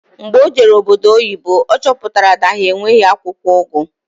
Mgbe o jere obodo oyibo ọ chọpụtara na ha enweghị akwụkwọ ugu